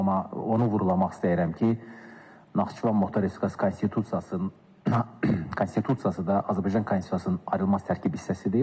Bu gün amma onu vurğulamaq istəyirəm ki, Naxçıvan Muxtar Respublikası Konstitusiyası konstitusiyası da Azərbaycan konstitusiyasının ayrılmaz tərkib hissəsidir.